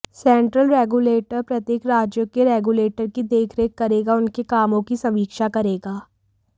central regulator प्रत्येक राज्यों के रेग्युलेटर की देखरेख करेगा उनके कामों की समीक्षा करेगा